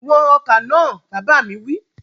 Wọn ọkà náà! Bàbá mi wí.